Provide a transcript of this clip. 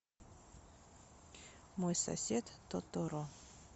мой сосед тоторо